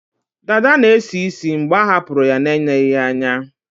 Dada na-esi ísì mgbe a hapụrụ ya na-eneghi ya anya